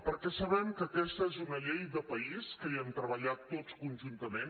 perquè sabem que aquesta és una llei de país que hi hem treballat tots conjuntament